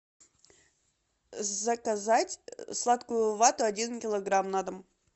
заказать сладкую вату один килограмм на дом